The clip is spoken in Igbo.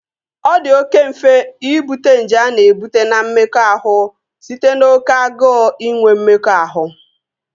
Ọ di oké mfe Ịbute nje a na-ebute na mmekọahụ site n'oké agụụ inwe mmekọahụ